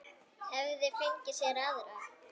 Hefði fengið sér aðra.